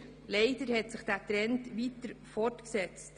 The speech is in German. Leider hat sich dieser Trend weiter fortgesetzt.